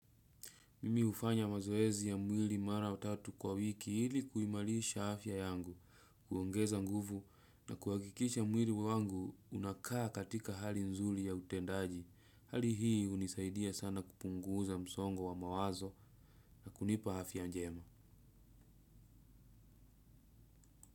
Mimi hufanya mazoezi ya mwili mara tatu kwa wiki ili kuimarisha afya yangu, kuongeza nguvu na kuhakikisha mwili wangu unakaa katika hali nzuri ya utendaji. Hali hii hunisaidia sana kupunguza msongo wa mawazo na kunipa afya njema.